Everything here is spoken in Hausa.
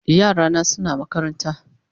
Yara na suna makaranta